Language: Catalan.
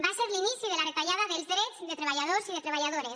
va ser l’inici de la retallada dels drets de treballadors i de treballadores